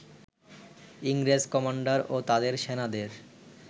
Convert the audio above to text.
ইংরেজ কমান্ডার ও তাদের সেনাদের